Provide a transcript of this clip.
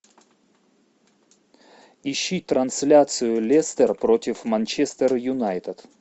ищи трансляцию лестер против манчестер юнайтед